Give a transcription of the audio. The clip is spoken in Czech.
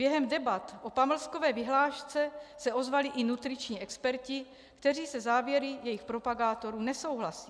Během debat o pamlskové vyhlášce se ozvali i nutriční experti, kteří se závěry jejich propagátorů nesouhlasí.